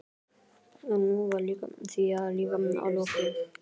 En nú var því líka lokið.